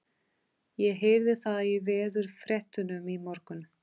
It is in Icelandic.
Ég heyrði það í veðurfréttunum í morgun.